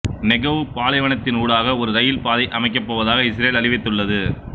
Negev பாலைவனத்தினூடாக ஒரு rail பாதையை அமைக்கப் போவதாக இஸ்ரேல் அறிவித்துள்ளது